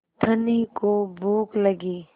धनी को भूख लगी